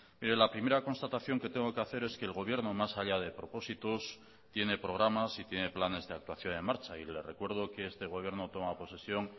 mire la primera constatación que tengo que hacer es que el gobierno más allá de propósitos tiene programas y tiene planes de actuación en marcha y le recuerdo que este gobierno toma posesión